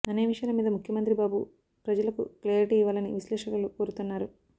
అనే విషయాల మీద ముఖ్యమంత్రి బాబు ప్రజలకు క్లేరిటి ఇవ్వాలని విశ్లేషకులు కోరుతున్నారు